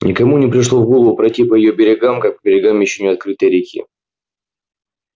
никому не пришло в голову пройти по её берегам как по берегам ещё не открытой реки